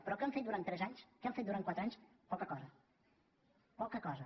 però què han fet durant tres anys què han fet durant quatre anys poca cosa poca cosa